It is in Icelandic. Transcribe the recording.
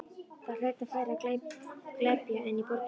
Þar hlaut færra að glepja en í borginni.